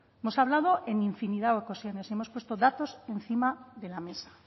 hemos hablado en infinidad de ocasiones y hemos puesto datos encima de la mesa